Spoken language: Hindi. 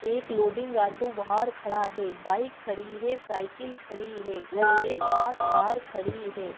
एक लोडिंग ऑटो बाहर खड़ा है बाइक खड़ी है साइकिल खड़ी है घर के पास कार खड़ी है।